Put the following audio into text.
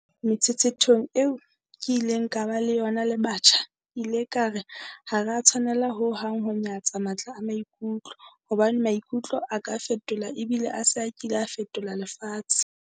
Metshetshethong eo ke bileng le yona le batjha, ke ile ka re ha re a tshwanela ho hang ho nyatsa matla a maikutlo, hobane maikutlo a ka fetola ebile a se a kile a fetola lefatshe.